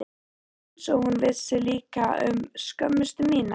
Einsog hún vissi líka um skömmustu mína.